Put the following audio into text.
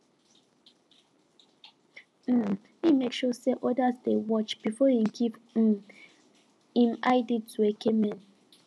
um him make sure say others dey watch before hin give um him id to eke men